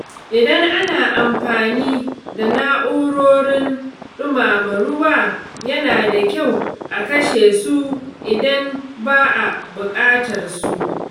Idan ana amfani da na’urorin ɗumama ruwa, yana da kyau a kashe su idan ba a buƙatarsu.